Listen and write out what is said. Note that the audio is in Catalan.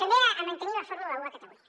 també a mantenir la fórmula un a catalunya